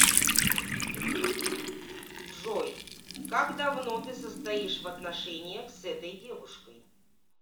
джой как давно ты состоишь в отношениях с этой девушкой